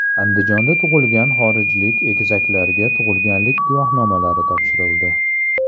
Andijonda tug‘ilgan xorijlik egizaklarga tug‘ilganlik guvohnomalari topshirildi.